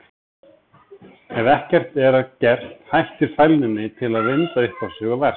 Ef ekkert er að gert hættir fælninni til að vinda upp á sig og versna.